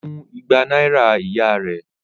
Ó mú igba náírà ìyá rẹ̀?